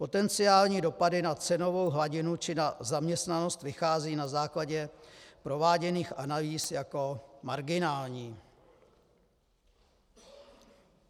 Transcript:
Potenciální dopady na cenovou hladinu či na zaměstnanost vychází na základě prováděných analýz jako marginální.